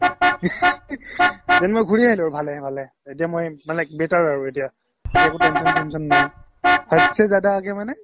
then মই ঘূৰি আহিলো আৰু ভালে ভালে এতিয়া মই মানে better আৰু এতিয়া এতিয়া আৰু একো tension চেন্চন নাই hadh se জ্যাদা aaga মানে